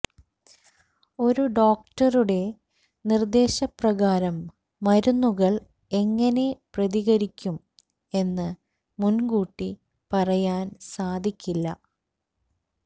ഒരു ഡോക്ടറുടെ നിർദേശപ്രകാരം മരുന്നുകൾ എങ്ങനെ പ്രതികരിക്കും എന്ന് മുൻകൂട്ടി പറയാൻ സാധിക്കില്ല